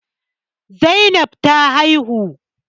Zainab ce ta haihu